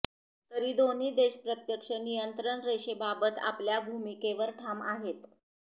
तरी दोन्ही देश प्रत्यक्ष नियंत्रण रेषेबाबत आपल्या भूमिकेवर ठाम आहेत